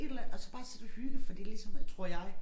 Et eller andet og så bare sidde og hygge fordi ligesom at tror jeg